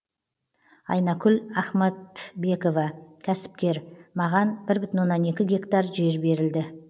айнакүл ахматбекова кәсіпкер маған бір бүтін оннан екі гектар жер берілді